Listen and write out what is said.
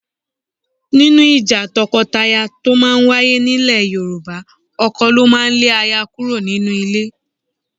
Nínú ìjà tọkọtaya tó máa ń wáyé nílẹ̀ Yorùbá, ọkọ ló máa ń lé aya kúrò nínú ilé